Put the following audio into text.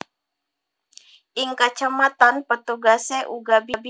Ing kacamatan petugase uga bingung